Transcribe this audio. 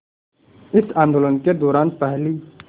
इस आंदोलन के दौरान पहली